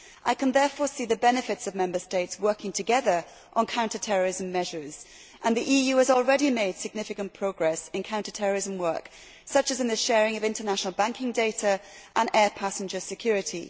I can therefore see the benefits of Member States working together on counter terrorism measures and the EU has already made significant progress in counter terrorism work, such as in the sharing of international banking data and air passenger security.